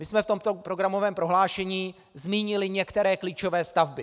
My jsme proto v programovém prohlášení zmínili některé klíčové stavby.